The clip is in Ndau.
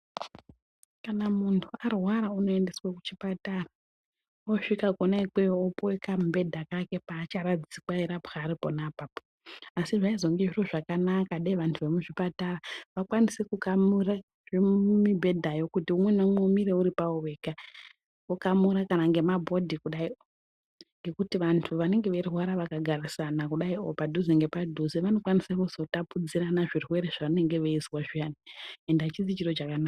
Kana mundu arwara unoendeswe kuchipatara osvika kone ikweyo opuwe kamubhedha kake paacharadzikwa eyirapwa ari pona apapo asi zvaizonge zviro zvakanaka dai vandu vemuchipatara vaikwanise kukamura mibhedhayo kuti umwe neumwe umire uripawo wega vokamura kana ngema board kudai o ngekuti vandu vanenge veirwara vakagarisana kudai o padhuze ngepadhuze vanokwanise kuzotapudzirana zvirwere zvavanenge veizwa zviyani ende achisi chiro chakanaka